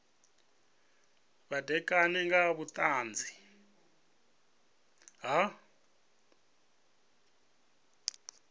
vha ṋekane nga vhuṱanzi ha